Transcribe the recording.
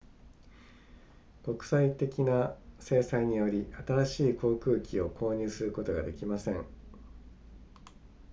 国際的な制裁により新しい航空機を購入することができません